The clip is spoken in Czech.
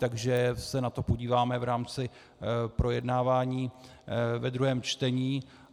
Takže se na to podíváme v rámci projednávání ve druhém čtení.